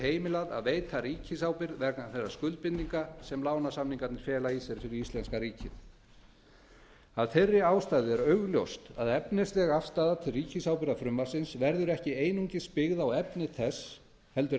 heimilað að veita ríkisábyrgð vegna þeirra skuldbindinga sem lánasamningarnir fela í sér fyrir íslenska ríkið af þeirri ástæðu er augljóst að efnisleg afstaða til ríkisábyrgðarfrumvarpsins verður ekki einungis byggð á efni þess heldur